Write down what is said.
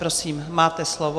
Prosím, máte slovo.